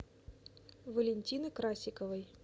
валентины красиковой